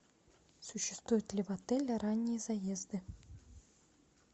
существуют ли в отеле ранние заезды